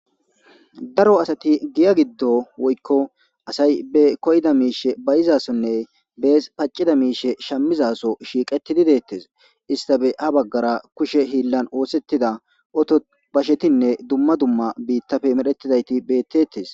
daro asati giya giddo woykko asay be koyda miishe bayizasonne bees paccida miishe shammizaso shiiqetidi deettes istabe ha baggara kushe hiillan oosettida oto bashetinne dumma dumma biittafe medhettidayti bettettes